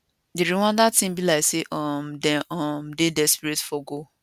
di rwanda team be like say um dem um dey desperate for goal